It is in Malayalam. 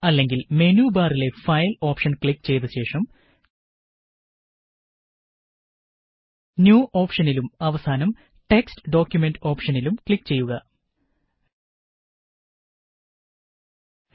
അല്ലെങ്കില് മെനു ബാറിലെ ഫയല് ഓപ്ഷന് ക്ലിക്ക് ചെയ്ത ശേഷം ന്യൂ ഓപ്ഷനിലും അവസാനം ടെക്സ്റ്റ് ഡോക്കുമന്റ് ഓപഷനിലും ക്ലിക്ക് ചെയ്ത്